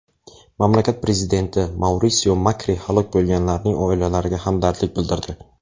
Mamlakat prezidenti Maurisio Makri halok bo‘lganlarning oilalariga hamdardlik bildirdi.